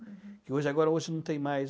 uhum. Que hoje agora, hoje não tem mais.